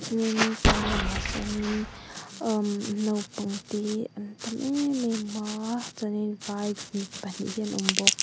tin pawn lamah sawnin am naupang te an tam em em a chuan vai pahnih hi an awm bawk.